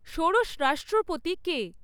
ষোড়শ রাষ্ট্রপতি কে?